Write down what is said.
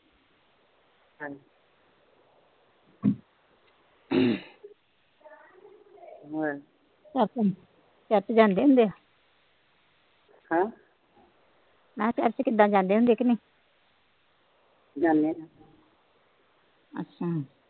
church ਜਾਂਦੇ ਹੁੰਦੇ ਆ ਹਮ ਮੈ ਚਰਚ ਕਿਦਾ ਜਾਂਦੇ ਹੁੰਦੇ ਆ ਕ ਨਹੀਂ ਜਾਂਦੇ ਆ ਅੱਛਾ